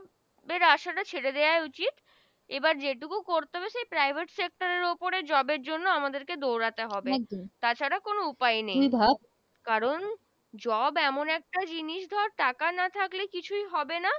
আশা টা ছেড়ে দেওয়া উচিৎ এবার যেটুকু করতে হবে সেই Private Sector উপরে Job জন্য আমাদের কে দৌড়াতে হবে তা ছাড়া কোন উপায় নেই কারন Job এমন একটা জিনিস ধর টাকা না থাকলে কিছু হবে না